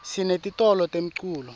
sinetitolo temculo